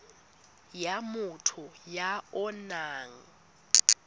ya motho ya o nang